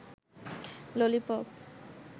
lollipop